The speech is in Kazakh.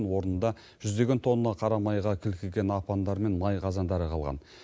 орнында жүздеген тонна қарамайға кілкіген апандар мен май қазандары қалған